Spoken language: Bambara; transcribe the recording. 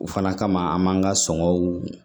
O fana kama an b'an ka sɔngɔw